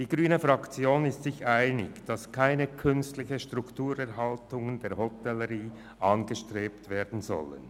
Die grüne Fraktion ist sich einig, dass keine künstliche Strukturerhaltung der Hotellerie angestrebt werden soll.